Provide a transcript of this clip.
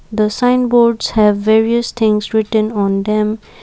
the sign boards have various things written on them.